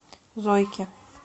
зойке